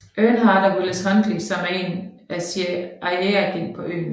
Earnhardt og Willis Huntley som er en CIA agent på øen